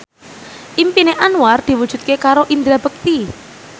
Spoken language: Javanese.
impine Anwar diwujudke karo Indra Bekti